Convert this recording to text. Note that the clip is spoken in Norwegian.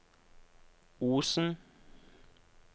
Osen